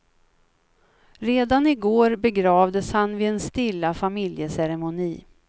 Redan i går begravdes han vid en stilla familjeceremoni.